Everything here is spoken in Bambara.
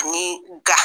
Ani ga